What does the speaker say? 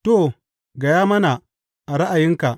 To, ka gaya mana, a ra’ayinka?